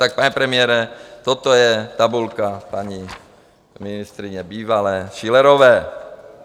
Tak pane premiére, toto je tabulka paní ministryně bývalé Schillerové.